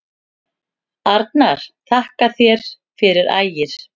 Arnar: Þakka þér fyrir Ægir.